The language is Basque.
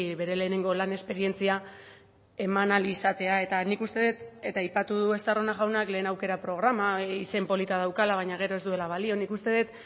bere lehenengo lan esperientzia eman ahal izatea eta nik uste dut eta aipatu du estarrona jaunak lehen aukera programa izen polita daukala baina gero ez duela balio nik uste dut